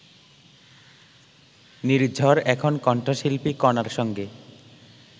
নির্ঝর এখন কণ্ঠশিল্পী কণার সঙ্গে